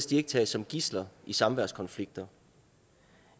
de ikke tages som gidsler i samværskonflikter